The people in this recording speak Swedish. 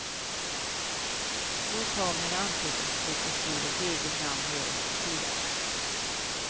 Så ta min anteckningsbok och skriv ert eget namn överst på sidan.